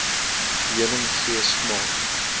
heuning gee smaak